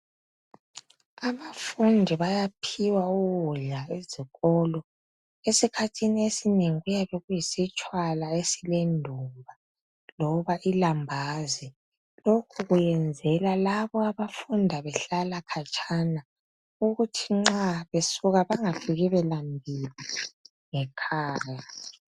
Abafundi bayaphiwa ukudla ezikolo. Esikhathini esinengi kuyabe kuyisitshwala esilendumba loba ilambazi. Lokhu kuyenzelwa labo abafunda behlala khatshana ukuthi nxa besuka bangafiki belambile ngekhaya.